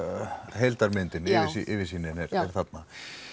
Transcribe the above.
heildarmyndin yfirsýnin er þarna